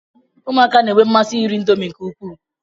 Ụmụaka na-enwe mmasị iri indomi nke ukwuu.